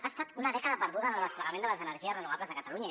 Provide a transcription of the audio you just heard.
ha estat una dècada perduda en el desplegament de les energies renovables a catalunya